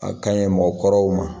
A ka ɲi mɔgɔ kɔrɔw ma